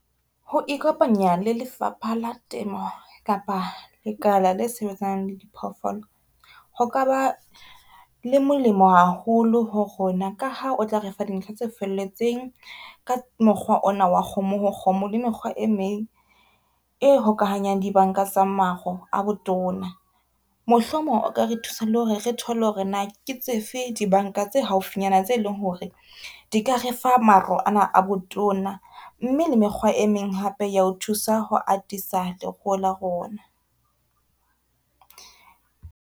Ho ikopanya le lefapha la temo kapa lekala le sebetsanang le di phoofolo, ho ka ba le molemo haholo ho rona ka ha o tla refa dintlha tse felletseng ka mokgwa ona wa kgomo, ho kgomo le mekgwa e meng e hokahanyang di banka tsa maro a botona. Mohlomong o ka re thusa le hore re thole hore na ke tsefe dibanka tse haufinyana, tse leng hore di ka re fa maro ana a botona mme le mekgwa e meng hape ya ho thusa ho atisa leruo la rona.